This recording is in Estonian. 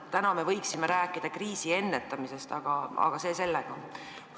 Täna me võiksime rääkida kriisi ennetamisest, aga see selleks.